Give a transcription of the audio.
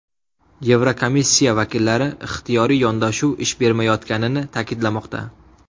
Yevrokomissiya vakillari ixtiyoriy yondashuv ish bermayotganini ta’kidlamoqda.